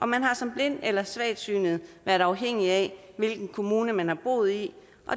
man har som blind eller svagsynet været afhængig af hvilken kommune man har boet i